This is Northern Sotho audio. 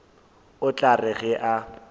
o tla re ge a